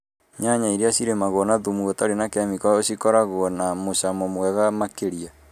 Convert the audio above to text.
Nyanya iria cirĩmagũo na thumu ũtari na kemiko nĩ cikoragũo na mũcamo mwega makĩrĩa